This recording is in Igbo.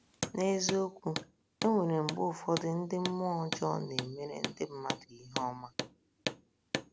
N’eziokwu, e nwere mgbe ụfọdụ ndị mmụọ ọjọọ na - emere ndị mmadụ ihe ọma.